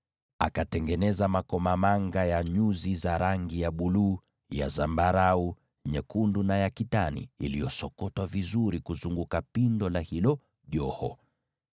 Akatengeneza makomamanga ya nyuzi za rangi ya buluu, za zambarau, na nyekundu na ya kitani iliyosokotwa vizuri kuzunguka pindo la hilo joho.